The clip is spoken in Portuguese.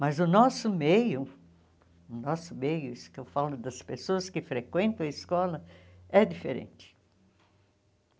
Mas o nosso meio, o nosso meio, isso que eu falo das pessoas que frequentam a escola, é diferente.